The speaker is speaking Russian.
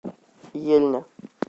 ельня